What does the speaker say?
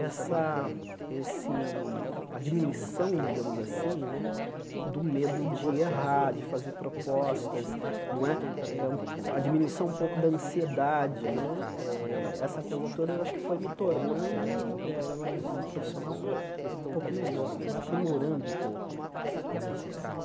essa esse a diminuição, digamos assim né, do medo de errar, de fazer propostas não é, a diminuição um pouco da ansiedade né eh, essa coisa toda eu acho que foi me tornando eh um um profissional um pouco melhor, vai aprimorando um pouco né nesse aspecto.